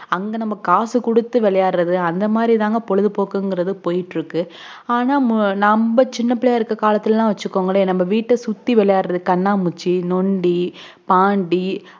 அங்க நம்ம காசு குடுத்து விளையாடுறது அந்த மாதிரிதாங்க பொழுதுபோக்குபோய்கிட்டு இருக்கு ஆனாநம்ம சின்ன பிள்ளைய இருக்குகுற காலத்துளலாம் வச்சுக்கோங்களே நம்ம வீட்ட சுத்தி விளையாடுற கண்ணாமூச்சி நொண்டி பாண்டி